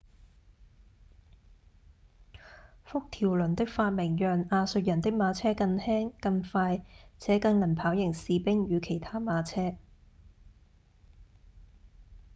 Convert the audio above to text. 幅條輪的發明讓亞述人的馬車更輕、更快且更能跑贏士兵與其他馬車